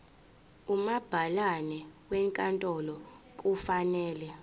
umabhalane wenkantolo kufanele